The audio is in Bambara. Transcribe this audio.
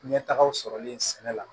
Ɲɛtagaw sɔrɔlen sɛnɛ la